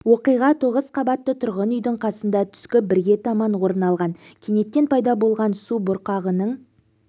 оқиға тоғыз қабатты тұрғын үйдің қасында түскі бірге таман орын алған кенеттен пайда болған субұрқағының